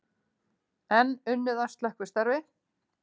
Enn unnið að slökkvistarfi